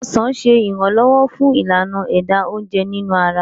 ọsán ṣe iranlọwọ fun Ìlànà ẹ̀dà oúnjẹ nínú ara